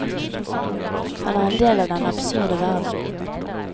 Han er en del av den absurde verden.